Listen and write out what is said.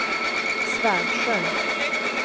Svärdsjö